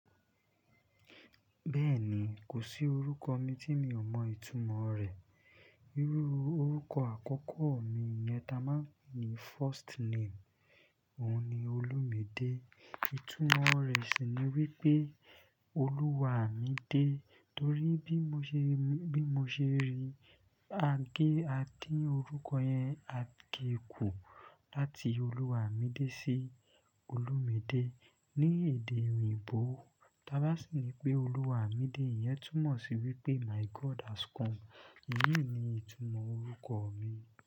Bẹ́ẹ̀ni, kò sí orúkọ mi tí mi ò mọ ìtumọ̀ rẹ̀. Irú orúkọ àkọ́kọ́ mi yẹn ta máa ń pe ní first name, òun ni Olumide. Ìtumọ̀ rẹ̀ sì ni wípé Oluwa mi de. Torí bí mo ṣe, bí mo ṣe rí i, a gé, a dín orúkọ yẹn, a gé e kù láti Oluwa mi de sí Olumide ní èdè òyìnbó. Tábá sì ni pé Oluwa mi de iyẹn túmọ̀ sí wípé my God has come. Èyí ni ìtumọ̀ orúkọ mi.